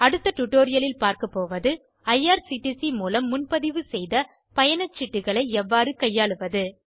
அடுத்த டுடோரியலில் பார்க்கபோவது ஐஆர்சிடிசி மூலம் முன்பதிவு செய்த பயணச்சீட்டுகளை எவ்வாறு கையாளுவது